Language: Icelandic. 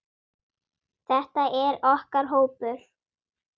Þetta er okkar hópur.